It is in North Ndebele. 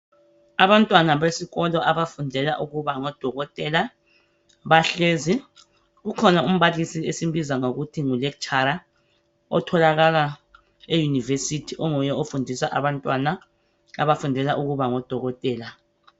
Abantwana besikolo abafundela ukuba ngodokotela bahlezi. Ukhona umbalisi esimbiza ngokuthi ngu lecturer otholakala eYunivesithi onguye ofundisa abantwana abafundela ukuba ngodokotela